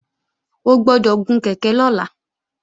O gbọ́dọ̀ gun kèké lọ́la!